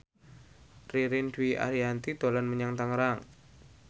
Ririn Dwi Ariyanti dolan menyang Tangerang